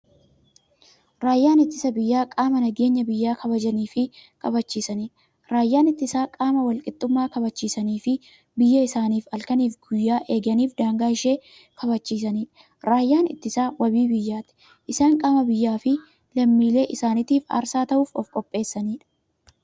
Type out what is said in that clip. Raayyaan ittisa biyyaa qaama nageenya biyya kabajaniifi kabachiisaniidha. Raayyaan ittisaa qaama walqixxummaa kabachisaniifi biyyaa isaanii halkaniif guyyaa eeganiifi daangaa ishee kabachiisaniidha. Raayyaan ittisaa waabii biyyaati. Isaan qaama biyyaafi lammiilee isaanitiif aarsaa ta'uuf ofqopheessaniidha.